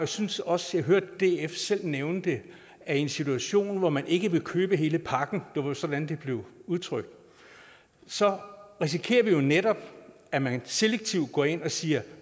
synes også jeg hørte df selv nævne det er i en situation hvor man ikke vil købe hele pakken det var sådan det blev udtrykt så risikerer vi jo netop at man selektivt går ind og siger